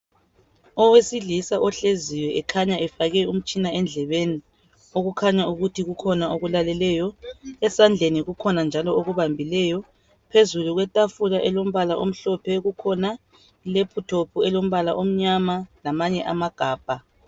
Owesilisa ohleziyo ekhanya efake umtshina endlebeni ekhanya kukhona akulaleleyo esandleni kukhona njalo akubambileyo phezulu kwetafula elombala omhlophe kukhona i laptop elombala omnyama lamanye amagabha.